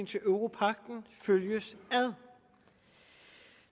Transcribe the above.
til europagten følges ad